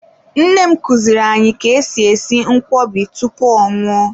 Nne m kuziri anyị ka-esi esi nkwobi tupu ọ nwụọ.